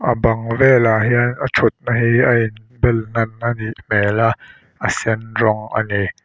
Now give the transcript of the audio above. bang velah hian a thutna hi a in bel hnab anih hmel a a sen rawng ani.